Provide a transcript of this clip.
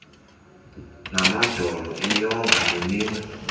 namadolo iinyonga neminwe